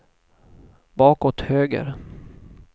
bakåt höger